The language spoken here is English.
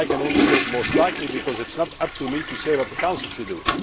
However, I can only say most likely' because it is not up to me to say what the Council should